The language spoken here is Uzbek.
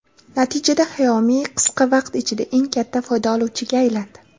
Natijada Xiaomi qisqa vaqt ichida eng katta foyda oluvchiga aylandi.